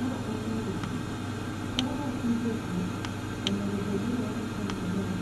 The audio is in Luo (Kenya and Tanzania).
Ma en od guok. Ka wapidho guok, onego bedni warite maber,